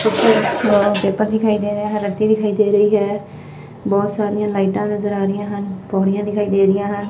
Paper ਦਿਖਾਈ ਦੇ ਰਿਹਾ ਹੈ ਰੱਦੀ ਦਿਖਾਈ ਦੇ ਰਹੀ ਹੈ ਬਹੁਤ ਸਾਰੀਆਂ ਲਾਈਟਾਂ ਨਜ਼ਰ ਆ ਰਹੀਆਂ ਹਨ ਪੌੜੀਆਂ ਦਿਖਾਈ ਦੇ ਰਹੀਆਂ ਹਨ।